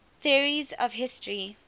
theories of history